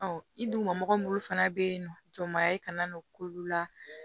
i duguma minnu fana bɛ yen nɔ jɔn b'a ye kana n'o k'olu la